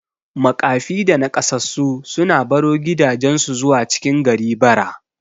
Maƙafi da Naƙasassu sukan baro gidajan su zuwa cikin gari bara